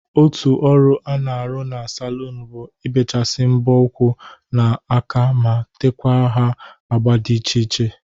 Otu ọrụ a na-arụ na salụnụ bụ ibechasi mbọ ụkwụ na aka ma tekwa ha agba dị iche iche.